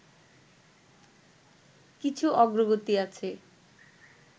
কিছু অগ্রগতি আছে